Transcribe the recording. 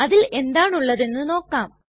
അതിൽ എന്താണ് ഉള്ളതെന്ന് നമുക്ക് നോക്കാം